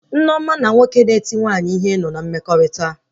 Nneoma na nwoke na-eti nwaanyị ihe nọ na mmekọrịta